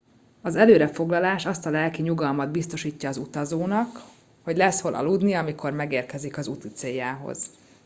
az előre foglalás azt a lelki nyugalmat biztosítja az utazónak hogy lesz hol aludnia amikor megérkezik úticéljához